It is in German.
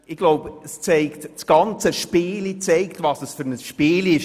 Ich glaube, das ganze Spiel zeigt, was das für ein Spiel ist.